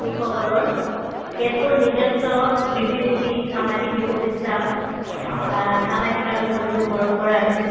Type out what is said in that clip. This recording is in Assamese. সকলৰ কেতবোৰ নিজস্ব ৰীতি-নীতি সামাজিক লোক বিশ্বাস আ সামাজিক আৰু ধৰ্মীয় পৰম্পৰা আছে